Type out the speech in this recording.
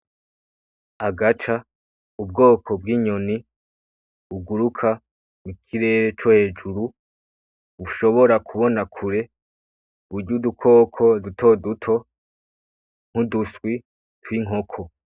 Agaca, ubwoko bw'inyoni buguruka mu kirere co hejuru bushobora kubona kure burya udukoko n'uduswi tw'inkoko.